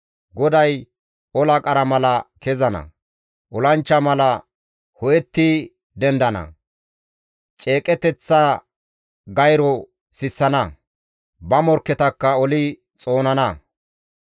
GODAY ola qara mala kezana; olanchcha mala ho7etti dendana. Ceeqeteththa gayro sissana; ba morkketakka oli xoonana.